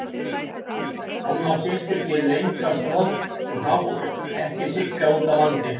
Alma systir gerir enga stoð og þá ekki Sigga úti á landi.